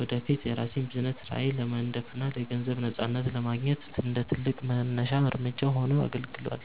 ወደፊት የራሴን የቢዝነስ ራዕይ ለመንደፍና የገንዘብ ነፃነትን ለማግኘት እንደ ትልቅ መነሻ እርምጃ ሆኖ አገልግሏል።